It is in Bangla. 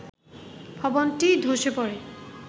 ভবনটি ধসে পড়ে